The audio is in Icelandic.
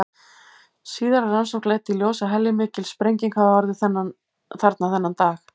Síðari rannsókn leiddi í ljós að heljarmikil sprenging hafði orðið þarna þennan dag.